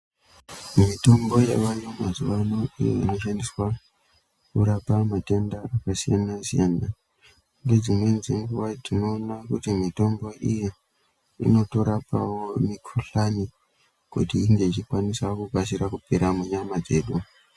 Mitombo yavayo mazuvano iyo inoshandiswa kurapa matenda akasiyana-siyana ngedzimweni dzenguva tinoona kuti mitombo iyi inotorapawo mikuhlani kuti inge ichikwanisa kukasira kupera munyama dzedu.